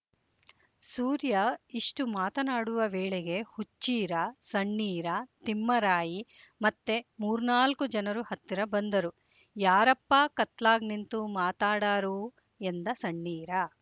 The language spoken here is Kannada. ಸೂರ್ಯ ಇಷ್ಟು ಮಾತನಾಡುವ ವೇಳೆಗೆ ಹುಚ್ಚೀರ ಸಣ್ಣೀರ ತಿಮ್ಮರಾಯಿ ಮತ್ತೆ ಮೂರ್ನಾಲ್ಕು ಜನರು ಹತ್ತಿರ ಬಂದರು ಯಾರ ಪ್ಪಾ ಕತ್ಲಾಗ್ ನಿಂತ್ ಮಾತಾಡಾರು ಎಂದ ಸಣ್ಣೀರ